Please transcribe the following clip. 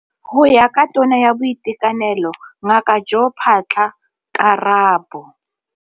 Go ya ka Tona ya Boitekanelo Ngaka Joe Phaahla, ka la bo.